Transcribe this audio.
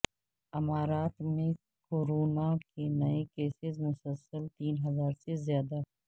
امارات میں کورونا کے نئے کیسز مسلسل تین ہزار سے زیادہ